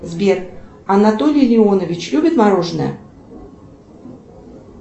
сбер анатолий леонович любит мороженое